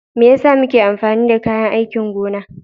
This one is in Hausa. Me yasa muke amfani da kayan aikin gona?